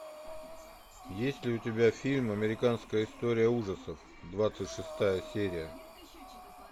есть ли у тебя фильм американская история ужасов двадцать шестая серия